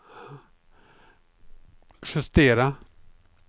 justera